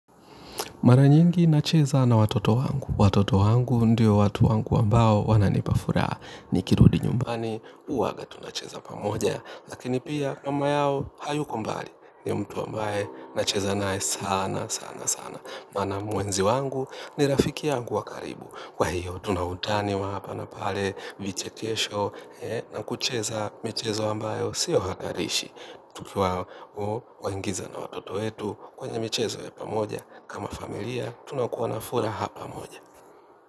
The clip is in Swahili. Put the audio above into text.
Mara nyingi nacheza na watoto wangu. Watoto wangu ndio watu wangu ambao wananipa furaha. Nikirudi nyumbani, huwaga tunacheza pamoja. Lakini pia mama yao hayuko mbali ni mtu ambaye nacheza naye sana sana sana. Maana mpenzi wangu ni rafiki yangu wa karibu. Kwa hiyo tuna utani wa hapa na pale vichekesho na kucheza michezo ambayo siyo hatarishi. Tukiwaingiza na watoto wetu kwenye michezo ya pamoja kama familia, tunakuwa na furaha pamoja.